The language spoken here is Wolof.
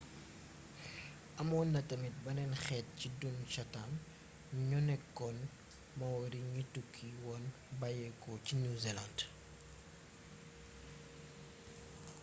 amoon na tamit beneen xeet ci dun chatham ñoo nekkoon maori ñi tukki woon bayyéko ci new zealand